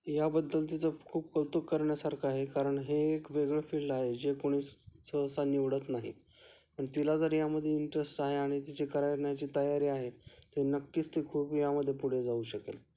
याबद्दल तिचं खूप कौतुक करण्यासारखे आहे कारण हे एक वेगळं फील्ड आहे जे कुणी सहसा निवडत नाही आणि तिला जर यामध्ये इंटरेस्ट आहे आणि तिची करण्याची तयारी आहे तर ती नक्कीच खूप यामध्ये पुढे जाऊ शकेल..